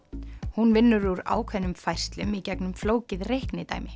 hún vinnur úr ákveðnum færslum í gegnum flókið